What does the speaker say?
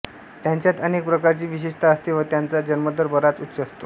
त्यांच्यात अनेक प्रकारची विशेषता असते व त्यांचा जन्मदर बराच उच्च असतो